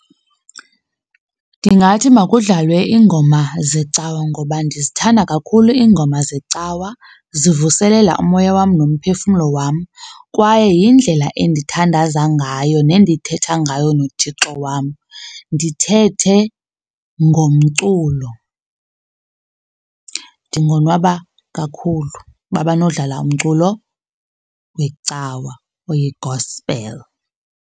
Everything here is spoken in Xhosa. Ndingathi makudlalwe iingoma zecawa ngoba ndizithanda kakhulu iingoma zecawa, zivuselele umoya wam nomphefumlo wam. Kwaye yindlela endithandaza ngayo nendithetha ngayo noThixo wam, ndithethe ngomculo. Ndingonwaba kakhulu uba banodlala umculo wecawa oyi-gospel.